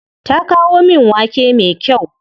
Ta kawo min wake me kyau.